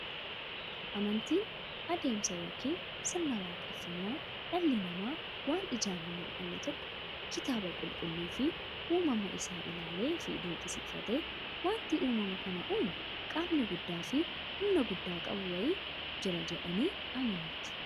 Amantiin adeemsa yookiin sirna waaqeffannaa dhalli namaa waan ijaan hin mullanne tokko kitaaba qulqulluufi uumama isaa isaa ilaaleefi dinqisiifatee, wanti uumama kana uumu qaamni guddaafi humna guddaa qabu wayii jira jedhanii amanuuti.